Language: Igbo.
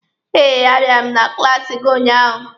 Eh, a bịara m na klaasi gị ụnyaahụ.